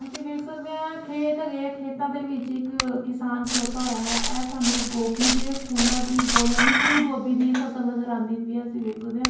ਅਸੀਂ ਵੇਖ ਸਕਦੇ ਆ ਖੇਤ ਹੈਗੇ ਆ ਖੇਤਾਂ ਦੇ ਵਿੱਚ ਇੱਕ ਕਿਸਾਨ ਖਲੋਤਾ ਹੋਇਆ ਹੈ ਇਹ ਸਾਨੂੰ ਗੋਭੀ ਦੇ ਫੁੱਲਾਂ ਦੀ ਯਾਨੀ ਫੁੱਲ ਗੋਭੀ ਦੀ ਫਸਲ ਨਜ਼ਰ ਆਂਦੀ ਪਈ ਹੈ ਅਸੀਂ ਵੇਖ ਸਕਦੇ ਆ।